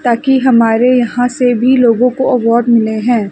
ताकि हमारे यहां से भी लोगों को अवार्ड मिले हैं।